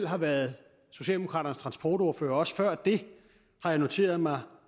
har været socialdemokraternes transportordfører og også før det har jeg noteret mig